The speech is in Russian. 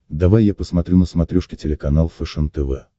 давай я посмотрю на смотрешке телеканал фэшен тв